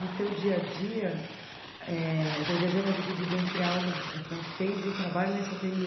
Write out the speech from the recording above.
No teu dia a dia, eh teu dia a dia está dividido entre aulas de francês e o trabalho nesse